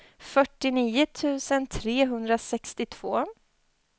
fyrtionio tusen trehundrasextiotvå